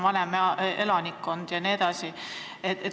Seal on ka vanem elanikkond jne.